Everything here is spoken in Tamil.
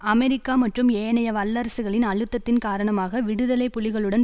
அமெரிக்கா மற்றும் ஏனைய வல்லரசுகளின் அழுத்தத்தின் காரணமாக விடுதலை புலிகளுடன்